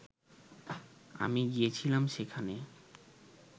আমি গিয়েছিলাম সেখানে